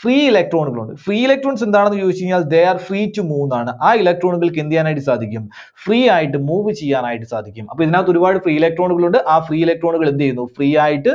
free electron കൾ ഉണ്ട്. free electrons എന്താണെന്ന് ചോദിച്ചു കഴിഞ്ഞാൽ they are free to move ന്നാണ്. ആ electron കൾക്ക് എന്ത് ചെയ്യാനായിട്ട് സാധിക്കും? free ആയിട്ട് move ചെയ്യാനായിട്ട് സാധിക്കും. അപ്പോൾ ഇതിനകത്ത് ഒരുപാട് free electron കൾ ഉണ്ട്. ആ free electron കൾ എന്ത് ചെയ്യുന്നു? free ആയിട്ട്